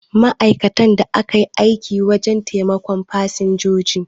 Ma'aikatan da kan yi aiki wajen taimakon fasinjiji